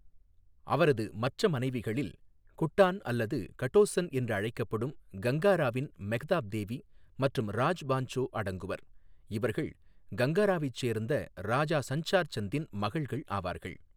அவரது மற்ற மனைவிகளில் குட்டான் அல்லது கட்டோசன் என்று அழைக்கப்படும் கங்காராவின் மெக்தாப் தேவி மற்றும் ராஜ் பான்சோ அடங்குவர், இவர்கள் கங்காராவைச் சேர்ந்த ராஜா சன்சார் சந்தின் மகள்கள் ஆவார்கள்.